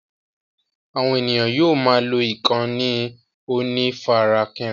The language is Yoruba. Àwọn ènìyàn yóò máa lọ ìkànnì onífarakínra.